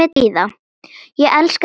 Ég elska þig, afi minn!